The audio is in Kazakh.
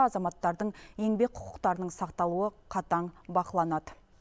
азаматтардың еңбек құқықтарының сақталуы қатаң бақыланады